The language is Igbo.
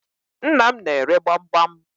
Nnam n'ere gbamgbam.